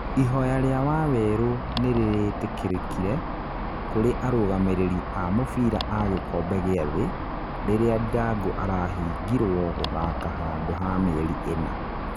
Ihoya ria waweru nirirĩtĩkĩrĩkire kũrĩ arũgamĩrĩri a mũbira a gĩkombe gĩa thĩ, rĩrĩa Ndirangu arahingirwo gũthaka handũ ha mĩeri ĩna